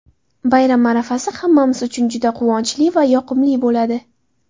Bayram arafasi hammamiz uchun juda quvonchli va yoqimli bo‘ladi.